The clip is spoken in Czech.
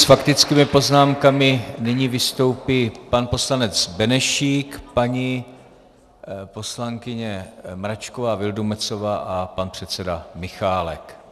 S faktickými poznámkami nyní vystoupí pan poslanec Benešík, paní poslankyně Mračková Vildumetzová a pan předseda Michálek.